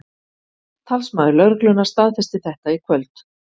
Talsmaður lögreglunnar staðfesti þetta í kvöld